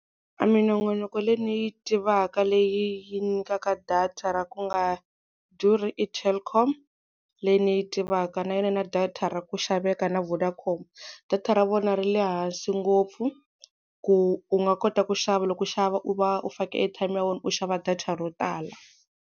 A minongonoko leyi ni yi tivaka leyi nyikaka data ra ku nga durhi i Telkom, leyi ni yi tivaka na yona yi na data ra ku xaveka na Vodacom. Data ra vona ri le hansi ngopfu ku u nga kota ku xava loko u xava u va u fake airtime ya wena u xava data ro tala.